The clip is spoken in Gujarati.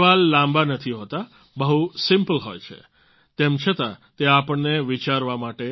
એ સવાલ લાંબા નથી હોતા બહુ સિમ્પલ હોય છે તેમ છતાં તે આપણને વિચારવા માટે